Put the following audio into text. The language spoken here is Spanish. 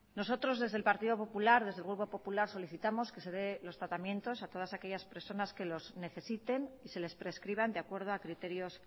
nosotros desde el partido popular desde el grupo popular solicitamos que se den los tratamientos a todas aquellas personas que lo necesiten y se les prescriban de acuerdo a criterios